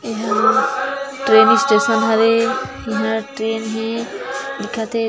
एहा train station हरे इहाँ ट्रैन हे दिखत हे।